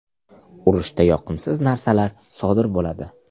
Urushda yoqimsiz narsalar sodir bo‘ladi.